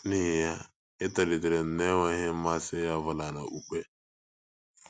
N’ihi ya, etolitere m n’enweghị mmasị ọ bụla n’okpukpe.